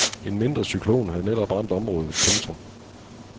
En mindre cyklon havde netop ramt området. punktum